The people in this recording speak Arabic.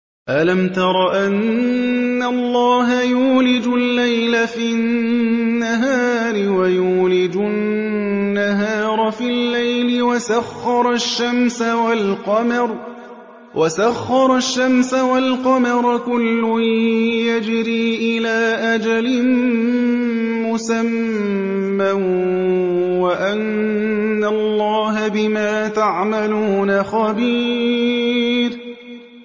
أَلَمْ تَرَ أَنَّ اللَّهَ يُولِجُ اللَّيْلَ فِي النَّهَارِ وَيُولِجُ النَّهَارَ فِي اللَّيْلِ وَسَخَّرَ الشَّمْسَ وَالْقَمَرَ كُلٌّ يَجْرِي إِلَىٰ أَجَلٍ مُّسَمًّى وَأَنَّ اللَّهَ بِمَا تَعْمَلُونَ خَبِيرٌ